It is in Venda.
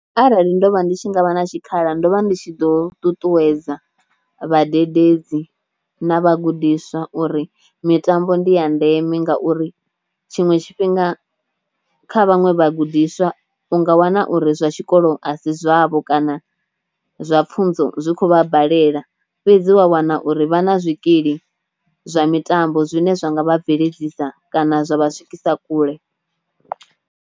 Arali ndo vha ndi tshi ngavha na tshikhala ndo vha ndi tshi ḓo ṱuṱuwedza vhadededzi na vhagudiswa uri mitambo ndi ya ndeme ngauri tshiṅwe tshifhinga kha vhaṅwe vhagudiswa u nga wana uri zwa tshikolo a si zwavho kana zwa pfunzo zwi kho vha balela fhedzi wa wana uri vha na zwikili zwa mitambo zwine zwa nga vha bveledzisa kana zwa vha swikisa kule.